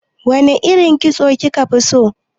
Wane irin kitso kika fi so?